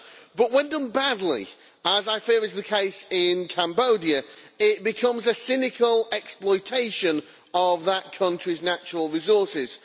But, when done badly, as I fear is the case in Cambodia, it becomes a cynical exploitation of that country's natural resources.